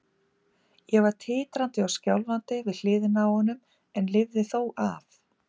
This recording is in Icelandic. Ég var titrandi og skjálfandi við hliðina á honum en lifði það þó af.